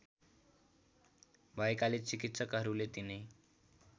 भएकाले चिकित्सकहरूले तिनै